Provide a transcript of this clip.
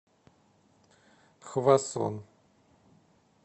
хвасон